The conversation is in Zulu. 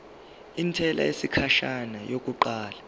intela yesikhashana yokuqala